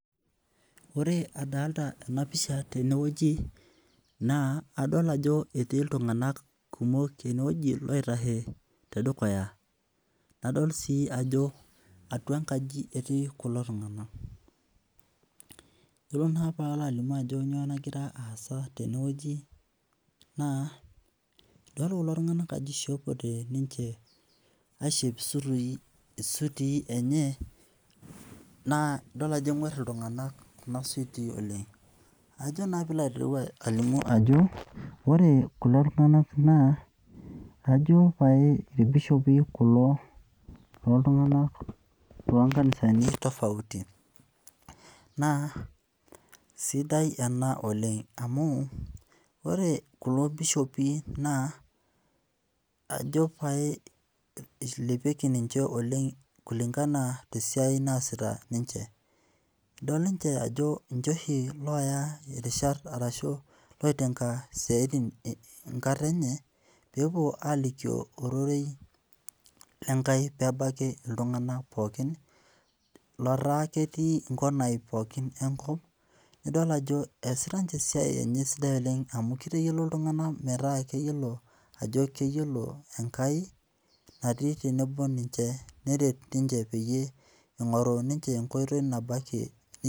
Ore adolita ena pisha tenewueji naa adol ajo etii iltung'anak kumok enewueji loitashe tedukuya. Nadol sii ajo atwa enkaji etii kulo tung'anak. Iyiolo naa paalo alimu ajo nyoo nagira aasa tenewueji, naa idol kulo tung'anak ajo ishopote ninche aishop isutii enye naa idol ajo eng'warr iltung'anak kuna sutii oleng. Ajo naa piilo aitereu alimu ajo ore kulo tung'anak naa kajo pae irbishopi kulo, loltung'anak lonkanisani tofauti. Naa sidai ena oleng amu ore kulo bishopi naa ajo pae ilepieki ninche oleng kulingana te siai naasita ninche. Idol niche ajo ninche oshi looya irishat arashu loitenga isiatin enkata enye peepwo alikio ororei lenkai peebaiki iltung'anak pookin lotaa ketii nkonai pookin enkop. Nidol ajo eesita ninche esiai enye sidai oleng amu kitayiolo iltung'anak metaa keyiolo ajo keyiolo enkai natii tenebo ninche neret ninche peyie ing'oru ninche enkoitoi nabo ake